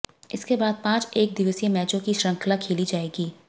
इसके बाद पांच एकदिवसीय मैचों की शृंखला खेली जाएगी